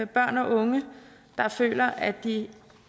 børn og unge der føler at de